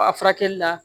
A furakɛli la